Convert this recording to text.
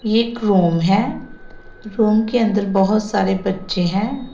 एक रूम है रूम के अंदर बहोत सारे बच्चे हैं।